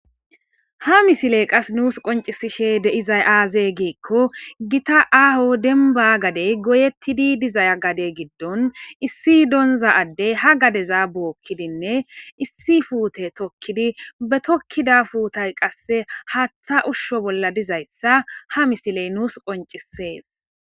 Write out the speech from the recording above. ha misiley qas nuus qoncisishe deizay aaze giikko gita aaho denba gadey goyettidi dizay gade giddon issi donza addey ha gadeza bookkidinne issi fuute tokkidi be tokkida fuutay qasse haaththa ushsho bolla dizayssa ha misiley nuus qoncisees